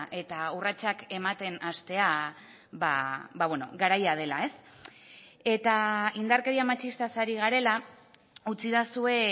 eta urratsak ematen hastea garaia dela eta indarkeria matxistaz ari garela utzidazue